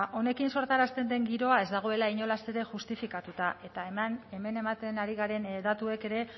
honekin sortarazten den giroa ez dagoela inolaz ere justifikatuta eta hemen ematen ari garen datuek ere